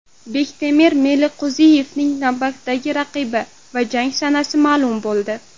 Bektemir Meliqo‘ziyevning navbatdagi raqibi va jang sanasi ma’lum bo‘ldi.